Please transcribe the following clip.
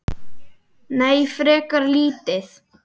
Nei, frekar lítið.